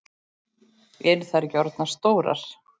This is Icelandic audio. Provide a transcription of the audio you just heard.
Eru þær ekki orðnar stórar?